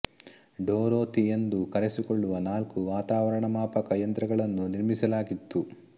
Dorothy ಎಂದು ಕರೆಸಿಕೊಳ್ಳುವ ನಾಲ್ಕು ವಾತಾವರಣ ಮಾಪಕ ಯಂತ್ರಗಳನ್ನು ನಿರ್ಮಿಸಲಾಗಿತ್ತು